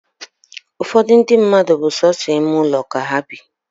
Ụfọdụ ndi mmadụ bu sọsọ ime ụlọ ka ha bị